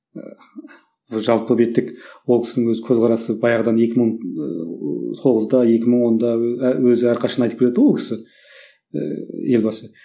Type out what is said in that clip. ыыы жалпы беттік ол кісінің өзі көзқарасы баяғыдан екі мың ыыы тоғызда екі мың онда і өзі әрқашан айтып келеді ғой ол кісі ііі елбасы